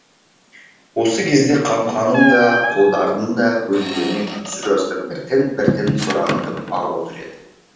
осы кезде қамқаның да қодардың да көздерінен үнсіз жастар біртін біртін сорағытып ағып отыр еді